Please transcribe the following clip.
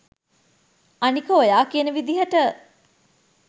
අනික ඔයා කියන විදියට